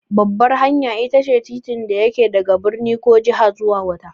Babbar hanya itace titin da yake daga birni ko jiha zuwa wata.